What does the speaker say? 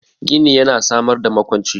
Gini yana samar da makwanci